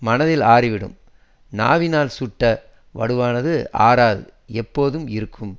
மனத்தில் ஆறிவிடும் நாவினால் சுட்ட வடுவானது ஆறாது எப்போதும் இருக்கும்